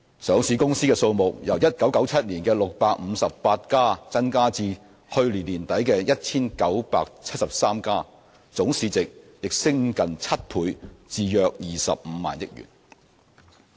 上市公司數目由1997年的658家增至去年年底的 1,973 家，總市值也升近7倍至約25萬億元。